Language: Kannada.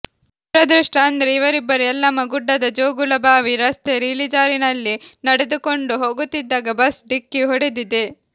ದುರದೃಷ್ಟ ಅಂದ್ರೆ ಇವರಿಬ್ಬರು ಯಲ್ಲಮ್ಮ ಗುಡ್ಡದ ಜೋಗೂಳಬಾವಿ ರಸ್ತೆ ಇಳಿಜಾರಿನಲ್ಲಿ ನಡೆದುಕೊಂಡು ಹೋಗುತ್ತಿದ್ದಾಗ ಬಸ್ ಡಿಕ್ಕಿ ಹೊಡೆದಿದೆ